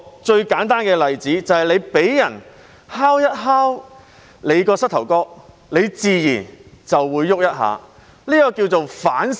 最簡單的例子是，你被人敲一下膝蓋，自然便會動一下，這稱為條件反射。